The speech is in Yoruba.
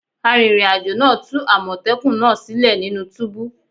Arìnrìn àjò náà tú àmọ̀tẹ́kùnnaa sílẹ̀ nínú túbú